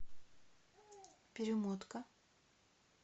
перемотка